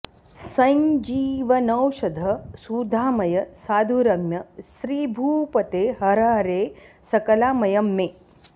सञ्जीवनौषध सुधामय साधुरम्य श्रीभूपते हर हरे सकलामयं मे